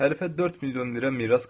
Hərifə 4 milyon lirə miras qalıb.